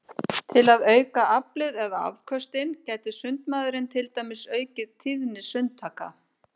Til að auka aflið eða afköstin gæti sundmaðurinn til dæmis aukið tíðni sundtaka.